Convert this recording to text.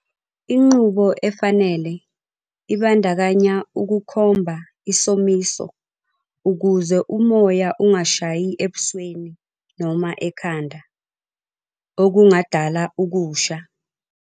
Inqubo efanele ibandakanya ukukhomba isomisi ukuze umoya ungashayi ebusweni noma ekhanda, okungadala ukusha.